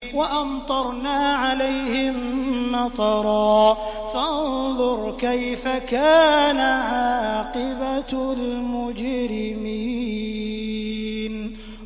وَأَمْطَرْنَا عَلَيْهِم مَّطَرًا ۖ فَانظُرْ كَيْفَ كَانَ عَاقِبَةُ الْمُجْرِمِينَ